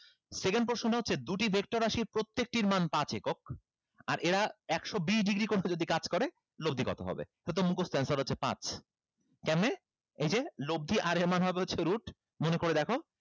second প্রশ্নটা হচ্ছে দুটি vector রাশির প্রত্যেকটির মান পাঁচ একক আর এরা একশো বিষ degree কোণে যদি কাজ করে লব্দি কত হবে তো তো মুখস্ত answer হচ্ছে পাঁচ কেমনে এই যে লব্দি আর হবে হচ্ছে root মনে করে দেখো